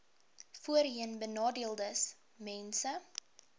voorheenbenadeeldesmense